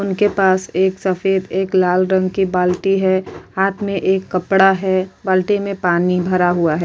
उनके पास एक सफ़ेद एक लाल रंग की बाल्टी है हाथ में एक कपड़ा है बाल्टी में पानी भरा हुआ है।